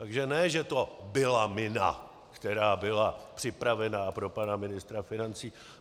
Takže ne že to byla mina, která byla připravena pro pana ministra financí.